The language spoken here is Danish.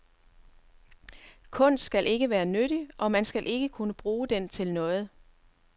Kunst skal ikke være nyttig, og man skal ikke kunne bruge den til noget.